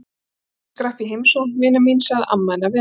Afi þinn skrapp í heimsókn, vina mín sagði amma hennar við hana.